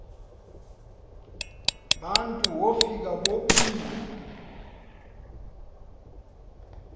bantu wofika bobile